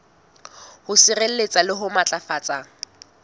ho sireletsa le ho matlafatsa